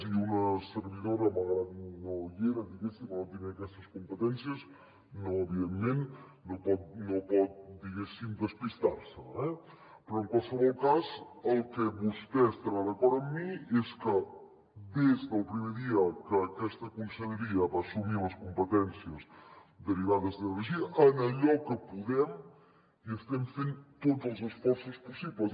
i una servidora malgrat que no hi era diguéssim o no tenia aquestes competències no evidentment no pot diguéssim despistar se eh però en qualsevol cas en el que vostè estarà d’acord amb mi és que des del primer dia que aquesta conselleria va assumir les competències derivades d’energia en allò que podem hi estem fent tots els esforços possibles